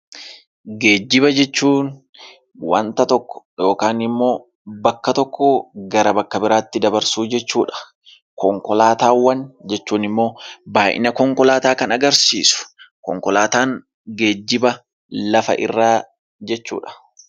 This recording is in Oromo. Geejiba jechuun waanta tokko yookaan immoo bakka tokkoo gara bakka biraatti dabarsuu jechuudha. Konkolaataawwan jechuun immoo baayyina konkolaataawwan kan agarsiisu. Konkolaataan geejiba lafa irraa jechuudha.